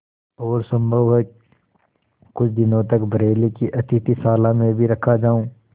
और सम्भव है कुछ दिनों तक बरेली की अतिथिशाला में भी रखा जाऊँ